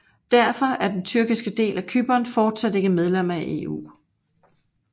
Derfor er den tyrkiske del af Cypern fortsat ikke medlem af EU